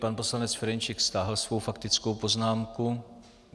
Pan poslanec Ferjenčík stáhl svoji faktickou poznámku.